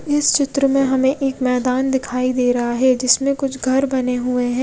इस चित्र में हमे एक मैदान दिखाई दे रहा है जिसमे कुछ घर बने हुए है।